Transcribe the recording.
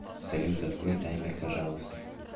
салют открой таймер пожалуйста